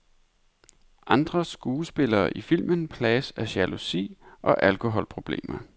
Andre skuespillere i filmen plages af jalousi og alkoholproblemer.